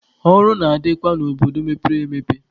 Ọrụ na-adịkwa n'obodo mepere emepe.